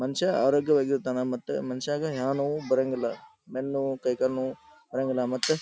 ಮನುಷ್ಯ ಆರೋಗ್ಯವಾಗಿರ್ತಾನೆ ಮತ್ತೆ ಮನಷ್ಯಾಗ ಯಾವ ನೋವು ಬರಂಗಿಲ್ಲ ಬೆನ್ ನೋವು ಕೈಕಾಲ್ ನೋವು ಬರಂಗಿಲ್ಲ ಮತ್ತೆ--